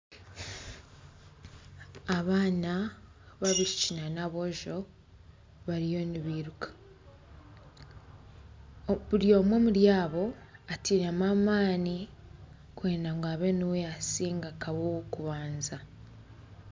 Abaana b'abaishiki nana aboojo bariyo nibairuka buri omwe omuri abo atairemu amaani kwenda ngu abe niwe yaasinga abe ow'okubanza